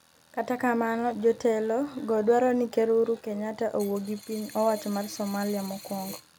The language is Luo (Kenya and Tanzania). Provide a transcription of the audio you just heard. kata kamano, jotelo go dwaro ni Ker Uhuru Kenyatta owuo gi piny owacho mar Somalia mokwongo